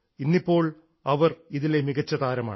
ഇന്നിപ്പോൾ അവർ ഇതിലെ മികച്ച താരമാണ്